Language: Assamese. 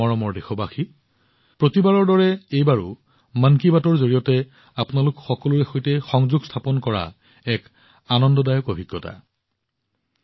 মোৰ মৰমৰ দেশবাসীসকল প্ৰতিবাৰৰ দৰে এইবাৰো মন কী বাতৰ জৰিয়তে আপোনালোক সকলোৰে সৈতে সংযোগ স্থাপন কৰাটো এক অতি আনন্দদায়ক অভিজ্ঞতা আছিল